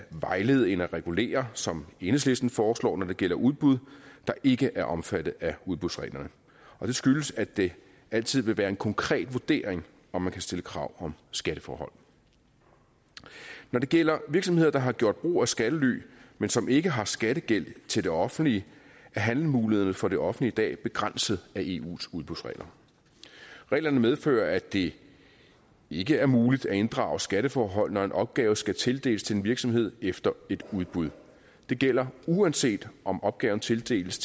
vejlede end at regulere som enhedslisten foreslår når det gælder udbud der ikke er omfattet af udbudsreglerne det skyldes at det altid vil være en konkret vurdering om man kan stille krav om skatteforhold når det gælder virksomheder der har gjort brug af skattely men som ikke har skattegæld til det offentlige er handlemulighederne for det offentlige i dag begrænset af eus udbudsregler reglerne medfører at det ikke er muligt at inddrage skatteforhold når en opgave skal tildeles en virksomhed efter et udbud det gælder uanset om opgaven tildeles